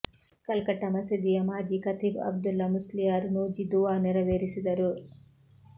ಕಲ್ಕಟ್ಟ ಮಸೀದಿಯ ಮಾಜಿ ಖತೀಬ್ ಅಬ್ದುಲ್ಲ ಮುಸ್ಲಿಯಾರ್ ನೂಜಿ ದುವಾ ನೆರವೇರಿಸಿದರು